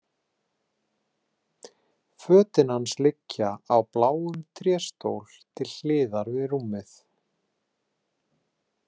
Fötin hans liggja á bláum tréstól til hliðar við rúmið.